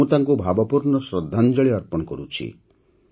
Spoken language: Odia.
ମୁଁ ତାଙ୍କୁ ଭାବପୂର୍ଣ୍ଣ ଶ୍ରଦ୍ଧାଞ୍ଜଳି ଅର୍ପଣ କରୁଛି